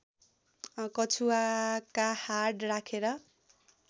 कछुवाका हाड राखेर